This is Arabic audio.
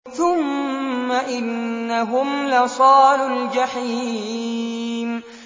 ثُمَّ إِنَّهُمْ لَصَالُو الْجَحِيمِ